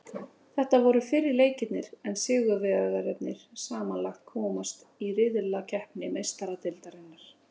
Þetta voru fyrri leikirnir en sigurvegararnir samanlagt komast í riðlakeppni Meistaradeildarinnar.